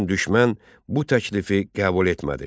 Lakin düşmən bu təklifi qəbul etmədi.